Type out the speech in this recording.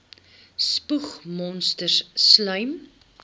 spoeg monsters slym